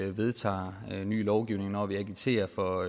vi vedtager lovgivning og når vi agiterer for